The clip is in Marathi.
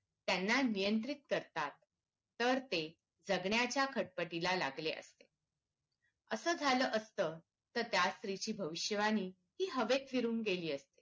त्यांना नियंत्रित करतात तर ते जगण्याच्या खटपटीला लागले असते असं झालं असत तर त्या स्त्रीची भविष्यवाणी ही हवेत फिरून गेली असती